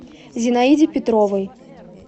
зинаиде петровой